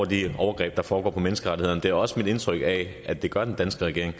de overgreb der foregår på menneskerettighederne det er også mit indtryk at det gør den danske regering